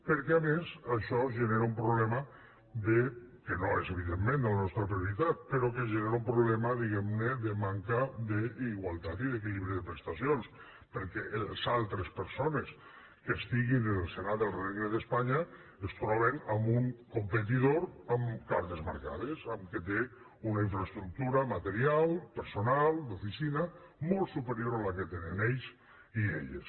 perquè a més això genera un problema que no és evidentment la nostra prioritat però genera un problema diguem ne de manca d’igualtat i d’equilibri de prestacions perquè les altres persones que estiguin en el senat del regne d’espanya es troben amb un competidor amb cartes marcades que té una infraestructura material personal d’oficina molt superior a la que tenen ells i elles